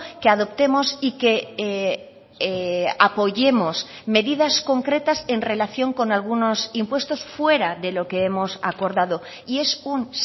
que adoptemos y que apoyemos medidas concretas en relación con algunos impuestos fuera de lo que hemos acordado y es un